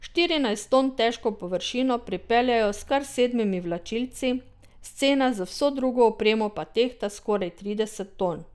Štirinajst ton težko površino pripeljejo s kar sedmimi vlačilci, scena z vso drugo opremo pa tehta skoraj trideset ton.